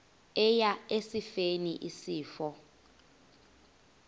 eya esifeni isifo